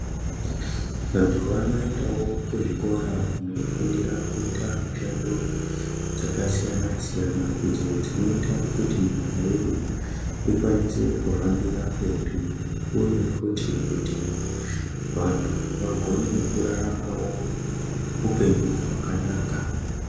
Vantu vanoendawo kuzvikora kunofundira kuita mishando dzakasiyana siyana idzo dzinoita kuti nyika yedu ikwanise kuhambira mberi uye futi kuti vantu vagone kuraramawo upenyu hwakanaka.